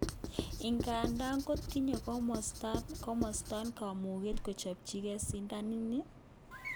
Ingandan kotinye komosaton kamuget kochopchige sidanan ni?